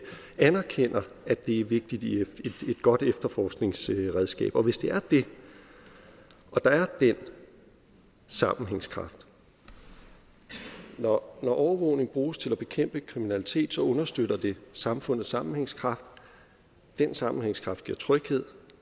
anerkender at det er vigtigt i et godt efterforskningsredskab og hvis det er det og der er den sammenhængskraft når overvågning bruges til at bekæmpe kriminalitet så understøtter det samfundets sammenhængskraft den sammenhængskraft giver tryghed